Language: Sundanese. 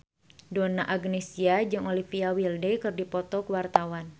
Donna Agnesia jeung Olivia Wilde keur dipoto ku wartawan